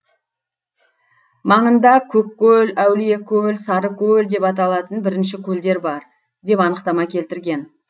маңында көккөл әулиекөл сарыкөл деп аталатын бірінше көлдер бар деп анықтама келтірген